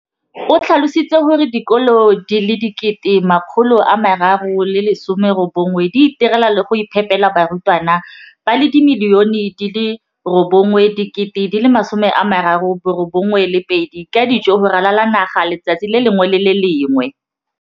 O tlhalositse gore dikolo di le 20 619 di itirela le go iphepela barutwana ba le 9 032 622 ka dijo go ralala naga letsatsi le lengwe le le lengwe.